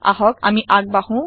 আহক আমি আগ বাঢ়ো